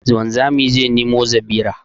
Wanzami zai nemo zabira